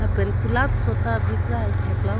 pen kulatso ta bikrai theklong.